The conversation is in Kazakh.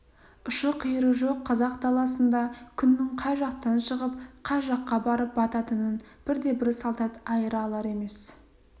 ұшы-қиыры жоқ қазақ даласында күннің қай жақтан шығып қай жаққа барып бататынын бірде-бір солдат айыра алар емес